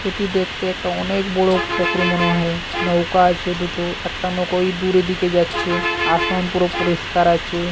এটি দেখতে একটা অনেক বড়ো পুকুর মনে হয় নৌকা আছে দুটো একটা নৌকায় ওই দূরের দিকে যাচ্ছে আসন পুরো পরিষ্কার আছে।